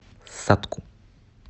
сатку